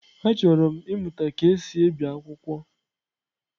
Achọrọ m ịmụta ka e si ebi akwụkwọ.